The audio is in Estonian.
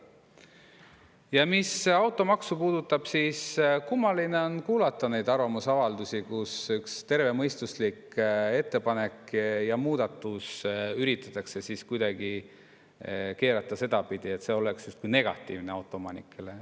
Ja mis automaksu puudutab, siis kummaline on kuulata neid arvamusavaldusi, kus üks tervemõistuslik ettepanek ja muudatus üritatakse keerata sedapidi, et see oleks justkui negatiivne autoomanikele.